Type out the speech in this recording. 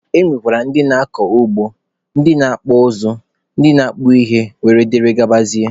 E nwekwara ndị na-akọ ugbo, ndị na-akpụ ụzụ, ndị na-akpụ ite wdg.